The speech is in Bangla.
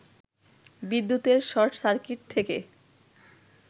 বিদ্যুতের শর্ট সার্কিট থেকে